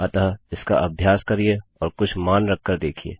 अतः इसका अभ्यास करिए और कुछ मान रख कर देखिये